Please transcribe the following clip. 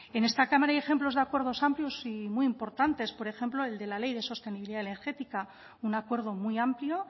en esta cámara hay ejemplos de acuerdos amplios y muy importantes por ejemplo el de la ley de sostenibilidad energética un acuerdo muy amplio